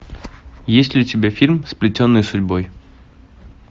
есть ли у тебя фильм сплетенные судьбой